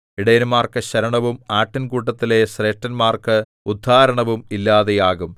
ഇടയന്മാർക്കു ശരണവും ആട്ടിൻകൂട്ടത്തിലെ ശ്രേഷ്ഠന്മാർക്കു ഉദ്ധാരണവും ഇല്ലാതെയാകും